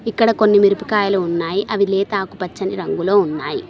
ఇక్కడ కొన్ని మిరపకాయలు ఉన్నాయి అవి లేత ఆకు పచ్చని రంగులో ఉన్నాయి.